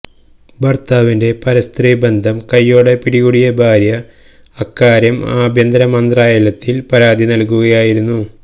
ഭര്ത്താവിന്റെ പരസ്ത്രീ ബന്ധം കയ്യോടെ പിടികൂടിയ ഭാര്യ അക്കാര്യം ആഭ്യന്തര മന്ത്രാലയത്തില് പരാതി നല്കുകയായിരുന്നു